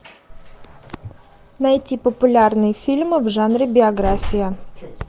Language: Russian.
найти популярные фильмы в жанре биография